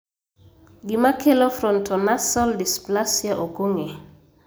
Gima kelo frontonasal dysplasia ok ong'e.